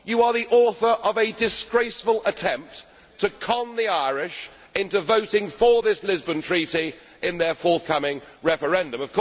You are the author of a disgraceful attempt to con the Irish into voting for this Lisbon Treaty in their forthcoming referendum.